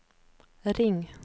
ring